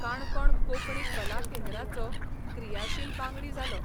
काणकोण कोंकणी कला केंद्राचो क्रियाशील बांगडी जालो.